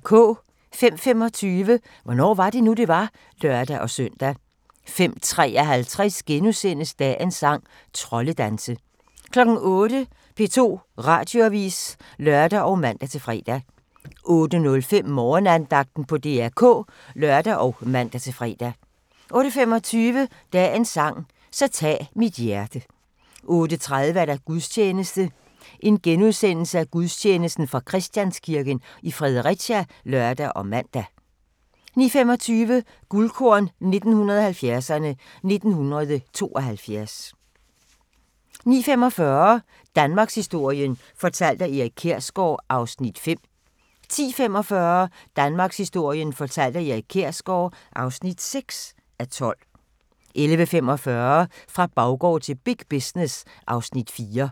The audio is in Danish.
05:25: Hvornår var det nu, det var? (lør-søn) 05:53: Dagens sang: Troldedanse * 08:00: P2 Radioavis (lør og man-fre) 08:05: Morgenandagten på DR K (lør og man-fre) 08:25: Dagens sang: Så tag mit hjerte 08:30: Gudstjeneste fra Christianskirken, Fredericia *(lør og man) 09:25: Guldkorn 1970'erne: 1972 09:45: Danmarkshistorien fortalt af Erik Kjersgaard (5:12) 10:45: Danmarkshistorien fortalt af Erik Kjersgaard (6:12) 11:45: Fra baggård til big business (Afs. 4)